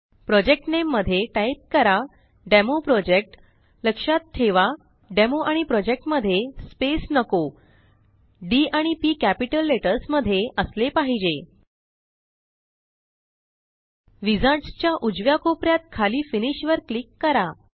project नामे मध्ये type करा DemoProjectलक्षात ठेवा डेमो आणि प्रोजेक्ट मध्ये स्पेस नको डी आणि पी कॅपिटल लेटर्स मध्ये असले पाहिजे विझार्ड्स च्या उजव्या कोप यात खाली फिनिश वर क्लिक करा